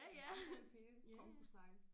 Vandrende pinde congosnegle